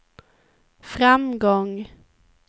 framgång